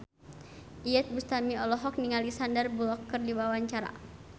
Iyeth Bustami olohok ningali Sandar Bullock keur diwawancara